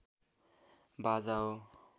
बाजा हो